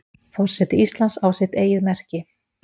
Forseti Íslands á sitt eigið merki.